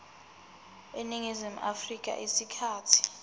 eningizimu afrika isikhathi